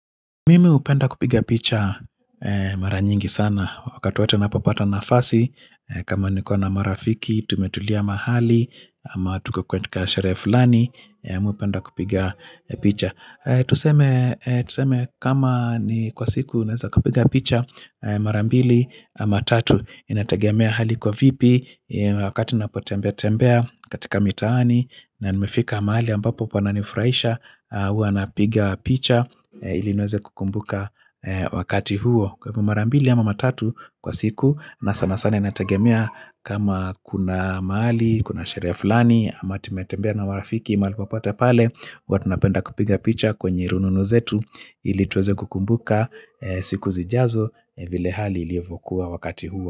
Mimi hupenda kupiga picha mara nyingi sana wakati wote ninapopata nafasi kama nikona marafiki tumetulia mahali ama tuko katika sherehe fulani Mi hupenda kupiga picha Tuseme kama ni kwa siku naeza kupiga picha marambili ama tatu Inategemea hali iko vipi wakati napotembea tembea katika mitaani na nimefika mahali ambapo pananifurahisha huwa napiga picha ili niweze kukumbuka wakati huo kwa hivo mara mbili ama mara tatu kwa siku na sana sana inategemea kama kuna mahali, kuna sherehe fulani ama tumetembea na warafiki mahali popote pale huwa tunapenda kupiga picha kwenye rununu zetu ili tuweze kukumbuka siku zijazo vile hali ilivyokuwa wakati huo.